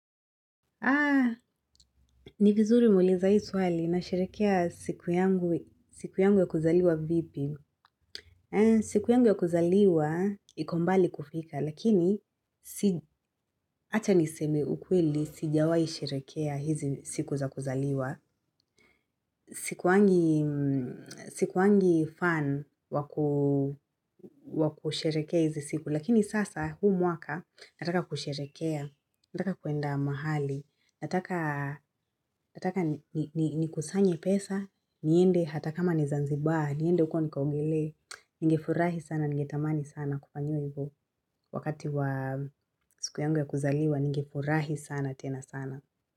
Ni vizuri umeuliza hii swali nasherekea siku yangu ya kuzaliwa vipi. Siku yangu ya kuzaliwa iko mbali kufika lakini acha niseme ukweli sijawai sherekea hizi siku za kuzaliwa. Sikuangi fan wakusherekea hizi siku. Lakini sasa huu mwaka nataka kusherekea, nataka kuenda mahali, nataka ni kusanye pesa, niende hata kama ni zanzibar, niende huko nikaogelee, ningefurahi sana, ningetamani sana kufanyiwa hivo. Wakati wa siku yangu ya kuzaliwa, ningefurahi sana tena sana.